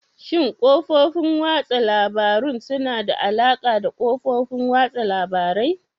Shin kafofin watsa labarun suna da alaƙa da kafofin watsa labarai?